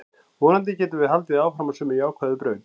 Vonandi getum við haldið áfram á sömu jákvæðu braut.